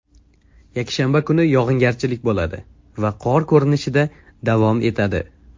Yakshanba kuni yog‘ingarchilik bo‘ladi va qor ko‘rinishida davom etadi.